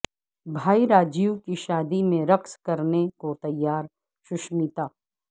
بھائی راجیو کی شادی میں رقص کرنے کو تیار سشمیتا